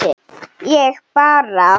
Ég bara.